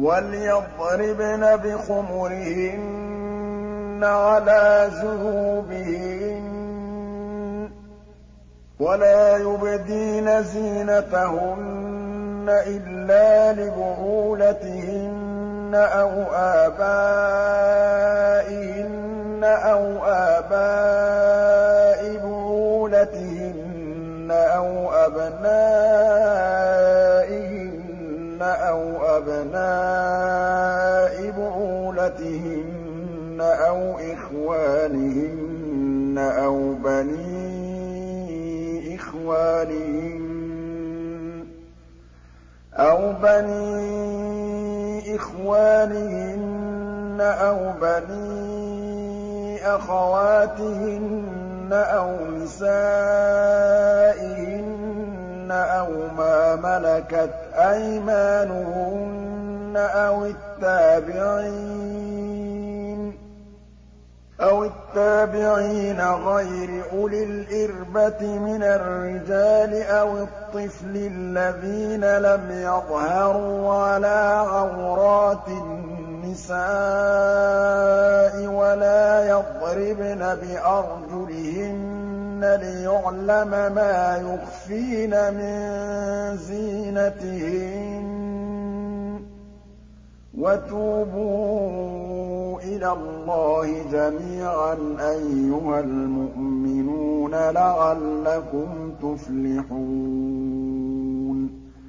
وَلْيَضْرِبْنَ بِخُمُرِهِنَّ عَلَىٰ جُيُوبِهِنَّ ۖ وَلَا يُبْدِينَ زِينَتَهُنَّ إِلَّا لِبُعُولَتِهِنَّ أَوْ آبَائِهِنَّ أَوْ آبَاءِ بُعُولَتِهِنَّ أَوْ أَبْنَائِهِنَّ أَوْ أَبْنَاءِ بُعُولَتِهِنَّ أَوْ إِخْوَانِهِنَّ أَوْ بَنِي إِخْوَانِهِنَّ أَوْ بَنِي أَخَوَاتِهِنَّ أَوْ نِسَائِهِنَّ أَوْ مَا مَلَكَتْ أَيْمَانُهُنَّ أَوِ التَّابِعِينَ غَيْرِ أُولِي الْإِرْبَةِ مِنَ الرِّجَالِ أَوِ الطِّفْلِ الَّذِينَ لَمْ يَظْهَرُوا عَلَىٰ عَوْرَاتِ النِّسَاءِ ۖ وَلَا يَضْرِبْنَ بِأَرْجُلِهِنَّ لِيُعْلَمَ مَا يُخْفِينَ مِن زِينَتِهِنَّ ۚ وَتُوبُوا إِلَى اللَّهِ جَمِيعًا أَيُّهَ الْمُؤْمِنُونَ لَعَلَّكُمْ تُفْلِحُونَ